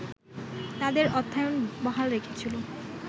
তাদের অর্থায়ন বহাল রেখেছিল